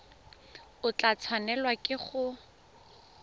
o tla tshwanelwa ke go